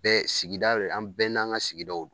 Bɛɛ sigida la an bɛɛ n'an ŋa sigidaw d